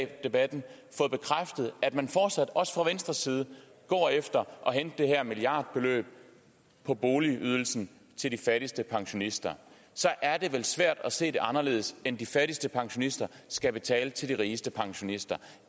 debatten fået bekræftet at man fortsat også fra venstres side går efter at hente det her milliardbeløb på boligydelsen til de fattigste pensionister så er det vel svært at se det anderledes end at de fattigste pensionister skal betale til de rigeste pensionister